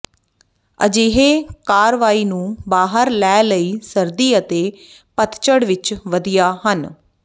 ਅਜਿਹੇ ਕਾਰਵਾਈ ਨੂੰ ਬਾਹਰ ਲੈ ਲਈ ਸਰਦੀ ਅਤੇ ਪਤਝੜ ਵਿੱਚ ਵਧੀਆ ਹਨ